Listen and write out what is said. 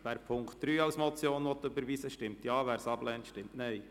Wer diesen als Motion überweisen will, stimmt Ja, wer es ablehnt, stimmt Nein.